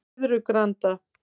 Flyðrugranda